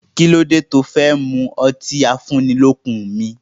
Kí ló dé tí ó fí n mú ọtí afúnnilọ́kun mi?